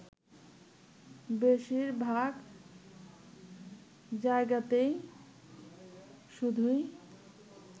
বেশীরভাগ জায়গাতেই শুধুই